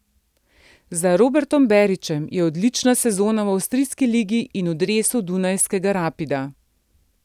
Za Robertom Berićem je odlična sezona v avstrijski ligi in v dresu dunajskega Rapida.